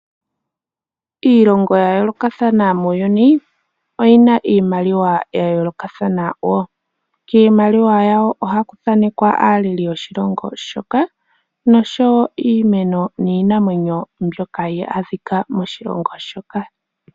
Iilongo ya yolokathana muuyuni oyi na iimaliwa yayolokathana wo. Kiimaliwa yawo ohaku thanekwa aaleli yoshilongo shoka. Nosho wo iimeno niinamwenyo mbyoka hayi adhika moshilongo moka.